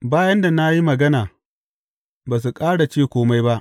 Bayan da na yi magana, ba su ƙara ce kome ba.